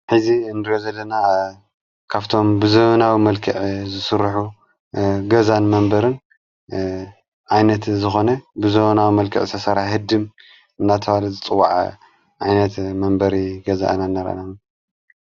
ሕዚ እንድሮ ዘለና ካፍቶም ብዘበናዊ መልክዕ ዝሱርኁ ገዛን መንበርን ኣይነት ዝኾነ ብዘበናዊ መልከዕ ዝተተሠራ ህድም እናተዋል ዘጽዋዕ ዓይነት መንበሪ ገዛእናነረና።